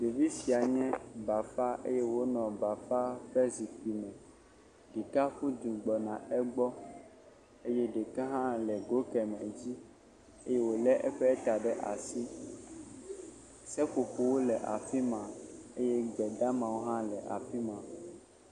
Ɖevi sia nye bafa eye wonɔ bafa ƒe zikpui me. Ɖeka ƒu du gbɔna egbɔ eye ɖeka hã le go keme dzi eye wole eƒe ta ɖe asi. Seƒoƒowo le afi ma eye gbedamawo hã le afi ma.